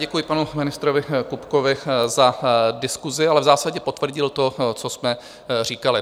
Děkuji panu ministrovi Kupkovi za diskusi, ale v zásadě potvrdil to, co jsme říkali.